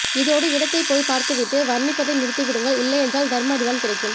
இதோடு இடத்தை போய் பார்த்து விட்டு வர்ணிப்பதை நிறுத்தி விடுங்கள் இல்லையென்றால் தர்ம அடிதான் கிடைக்கும்